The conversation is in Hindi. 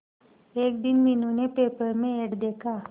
एक दिन मीनू ने पेपर में एड देखा